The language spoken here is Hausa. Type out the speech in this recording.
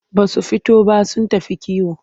Ba su fito ba sun tafi kiwo.